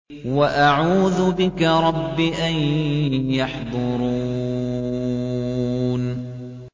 وَأَعُوذُ بِكَ رَبِّ أَن يَحْضُرُونِ